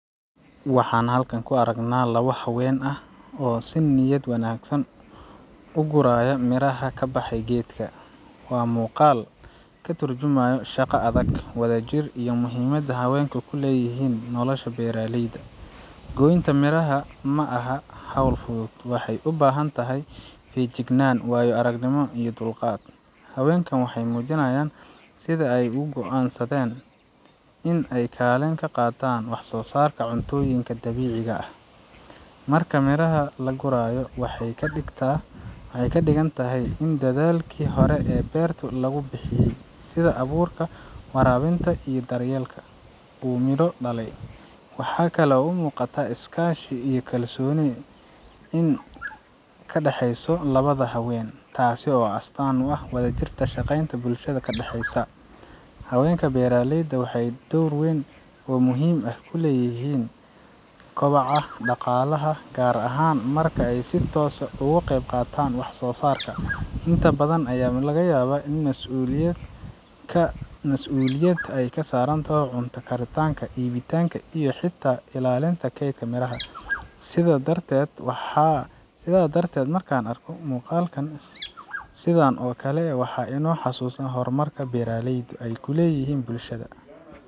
Waxaan halkan ku aragnaa laba haween ah oo si niyad wanaagsan u guraya miraha ka baxay geedka. Waa muuqaal ka turjumayo shaqo adag, wadajir, iyo muhiimadda haweenka ku leeyihiin nolosha beeraleyda. Goynta miraha ma aha hawl fudud waxay u baahan tahay feejignaan, waayo-aragnimo iyo dulqaad. Haweenkan waxay muujinayaan sida ay uga go’an sadeen in ay kaalin ka qaataan wax-soosaarka cuntooyinka dabiiciga ah. Marka miraha la gurayo, waxay ka dhigtaa, waxay ka dhigan tahay in dadaalkii hore ee beertu lagu bixiyay sida abuurka, waraabinta iyo daryeelka uu midho dhalay. Waxaa kale oo muuqata iskaashi iyo kalsooni ka dhexeysa labada haween, taas oo astaan u ah wada shaqaynta bulshada ka dhexeysa. Haweenka beeraleyda waxay door weyn oo muhiim ah ku leeyihiin kobaca dhaqaalaha, gaar ahaan marka ay si toos ah uga qeyb qaataan wax-soosaarka. Inta badan, ayaa laga yabaa in mas’uuliyad ay ka saaran taho cunto karitanka, iibitanka, iyo xitaa ilaalinta kaydka miraha. Sidaa darteed waxaa ,Sidaa darteed, markaan arko muuqaalkan sidan oo kale , waa inoo xasuusin horumarka beeraleydu ay ku leyihiin bulshada.